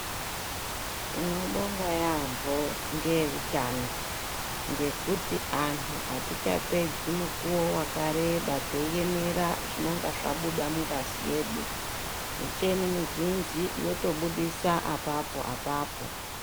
Tinobonga yeyamho ngeutano ngekuti anhu atichapedzi mukuwo wakareba teiemera zvinenge zvabuda mungazi yedu, miteni mizhinji zvinotobudisa apapo apapo.